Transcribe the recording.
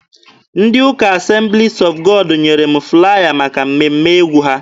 Ndị ụka Assemblies of God nyere m flaya maka mmemme egwu ha.